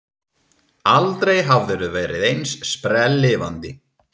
Aldrei hafðirðu verið eins sprelllifandi.